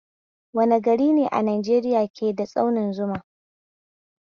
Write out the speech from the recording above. Wane garine a Najeriya ke da dutsen Zuma?